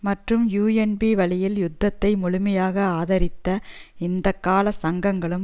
மற்றும் யூஎன்பி வழியில் யுத்தத்தை முழுமையாக ஆதரித்த இந்த கால சங்கங்களும்